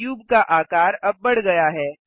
cube का आकार अब बढ़ गया है